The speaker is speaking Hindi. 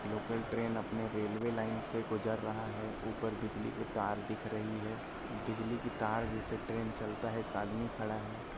लोकल ट्रैन अपने रेलवे लेने से गुजर रहा है ऊपर बिजली का तर दिख रही है बिजली की तर जिससे ट्रैन चलता है एक आदमी खड़ा है।